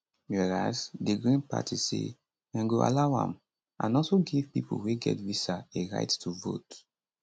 whereas di green party say dem go allow am and also give pipo wey get visa a right to vote